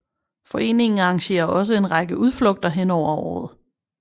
Foreningen arrangerer også en række udflugter hen over året